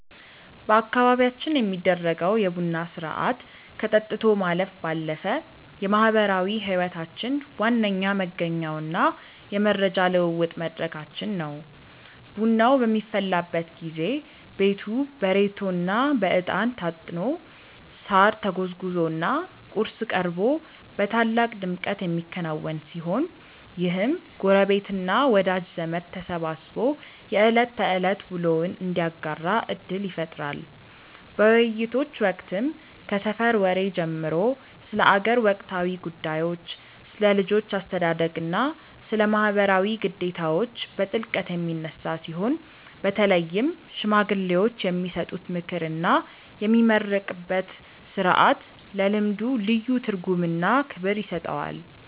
በአካባቢያችን የሚደረገው የቡና ሥርዓት ከጠጥቶ ማለፍ ባለፈ የማኅበራዊ ሕይወታችን ዋነኛ መገኛውና የመረጃ ልውውጥ መድረካችን ነው። ቡናው በሚፈላበት ጊዜ ቤቱ በሬቶና በዕጣን ታጥኖ፣ ሳር ተጎዝጉዞና ቁርስ ቀርቦ በታላቅ ድምቀት የሚከናወን ሲሆን፣ ይህም ጎረቤትና ወዳጅ ዘመድ ተሰባስቦ የዕለት ተዕለት ውሎውን እንዲያጋራ ዕድል ይፈጥራል። በውይይቶች ወቅትም ከሰፈር ወሬ ጀምሮ ስለ አገር ወቅታዊ ጉዳዮች፣ ስለ ልጆች አስተዳደግና ስለ ማኅበራዊ ግዴታዎች በጥልቀት የሚነሳ ሲሆን፣ በተለይም ሽማግሌዎች የሚሰጡት ምክርና የሚመረቅበት ሥርዓት ለልምዱ ልዩ ትርጉምና ክብር ይሰጠዋል።